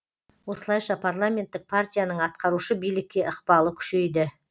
осылайша парламенттік партияның атқарушы билікке ықпалы күшейді